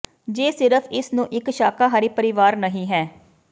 ਜੇ ਸਿਰਫ ਇਸ ਨੂੰ ਇੱਕ ਸ਼ਾਕਾਹਾਰੀ ਪਰਿਵਾਰ ਨਹੀ ਹੈ